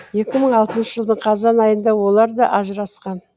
екі мың алтыншы жылдың қазан айында олар да ажырасқан